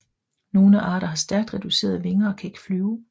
Nogle arter har stærkt reducerede vinger og kan ikke flyve